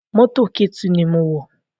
Mọ́tò Ketu ni mo wọ̀